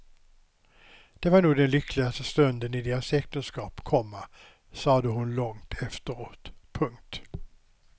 Det var nog den lyckligaste stunden i deras äktenskap, komma sade hon långt efteråt. punkt